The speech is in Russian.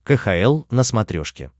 кхл на смотрешке